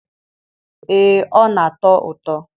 ee ọ na-atọ ụtọ.